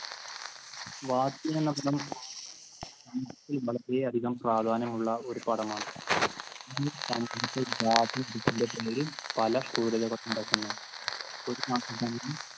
വാത്തി എന്ന പടം വളരെയധികം പ്രാധാന്യം ഉള്ള ഒരു പടമാണ്.